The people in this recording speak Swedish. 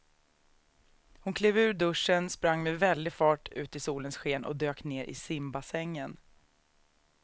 Hon klev ur duschen, sprang med väldig fart ut i solens sken och dök ner i simbassängen.